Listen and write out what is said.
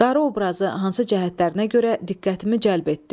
Qarı obrazı hansı cəhətlərinə görə diqqətimi cəlb etdi?